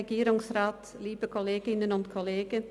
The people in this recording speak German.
– Grossrätin Teuscher hat das Wort.